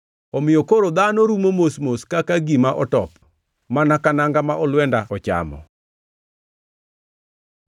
“Omiyo koro dhano rumo mos mos kaka gima otop, mana ka nanga ma olwenda ochamo.”